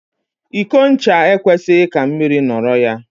Iko ncha e kwesịghị ka mmiri nọrọ ya.